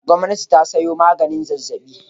Gwamnati ta sayo maganin zazzaɓi.